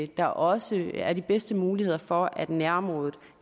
der også er de bedste muligheder for at nærområdet